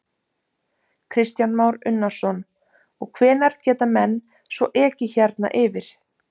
Kristján Már Unnarsson: Og hvenær geta menn svo ekið hérna yfir?